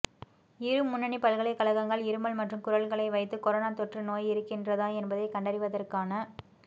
இரு முன்னணி பல்கலைக்கழகங்கள் இருமல் மற்றும் குரல்களை வைத்து கொரோனா தொற்று நோய் இருக்கின்றதா என்பதை கண்டறிவதற்கான